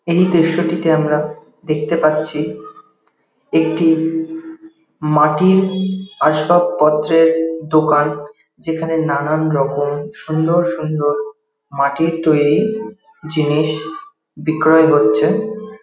এই দৃশ্যটিতে আমরা দেখতে পাচ্ছি একটি মাটির আসবাবপত্রের দোকান যেখানে নানান রকম সুন্দর সুন্দর মাটির তৈরী জিনিস বিক্রয় হচ্ছে।